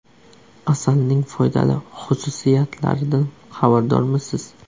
Asalning foydali xususiyatlaridan xabardormisiz?.